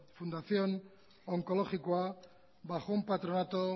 fundación onkologikoa bajo un patronato